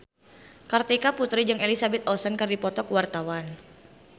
Kartika Putri jeung Elizabeth Olsen keur dipoto ku wartawan